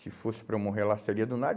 Se fosse para eu morrer lá, seria do nada.